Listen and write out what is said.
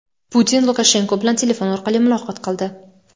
Putin Lukashenko bilan telefon orqali muloqot qildi.